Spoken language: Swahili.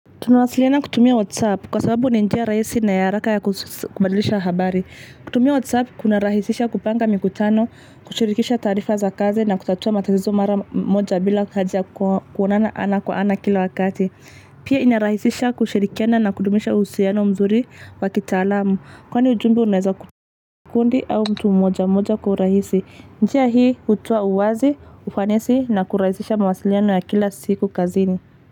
Tunawasiliana kutumia WhatsApp kwa sababu ni njia rahisi na ya haraka ya kubadilisha habari. Kutumia WhatsApp kuna rahisisha kupanga mikutano, kushirikisha taarifa za kazi na kutatua matazizo mara moja bila haja ya kuonana ana kwa ana kila wakati. Pia inarahisisha kushirikiana na kudumisha uhusiano mzuri wakitalamu. Kwani ujumbe unaweza kuwa kundi au mtu moja moja kwa urahisi. Njia hii hutoa uwazi, ufanesi na kurahisisha mawasiliano ya kila siku kazini.